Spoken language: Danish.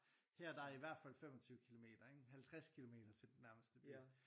Her der er i hvert fald 25 kilometer ikke? 50 kilometer til den nærmeste by